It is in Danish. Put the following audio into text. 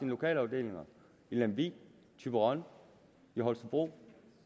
lokalafdelinger i lemvig thyborøn og holstebro